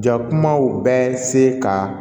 Jakumaw bɛ se ka